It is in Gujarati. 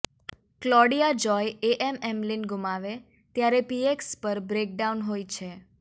ક્લોડિયા જોય એએમએમલિન ગુમાવે ત્યારે પીએક્સ પર બ્રેકડાઉન હોય છે